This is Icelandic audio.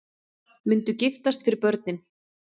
Myndu giftast fyrir börnin